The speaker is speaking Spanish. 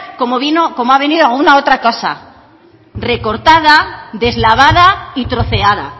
como vino como ha venido alguna otra cosa recortada deslavada y troceada